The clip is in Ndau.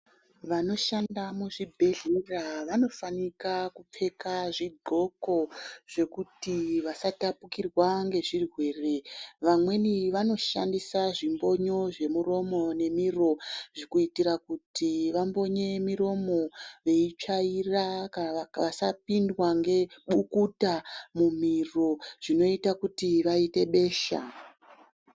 Vanoshanda muzvibhehlera vanofana kupfeka zvidxoko zvekuti vasatapukirwa ngezvirwere. Vamwneni vanoshandisa zvimbonyo zvemuromo nemiro kuitira kuti vambonye muromo veitsvaira kuti vasapindwa nebukuta mumiro zvinoite kuti vaite besha.